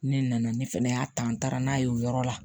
Ne nana ne fɛnɛ y'a ta n taara n'a ye o yɔrɔ la